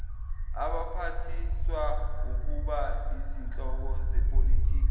abaphathiswaukuba izinhloko zepolitiki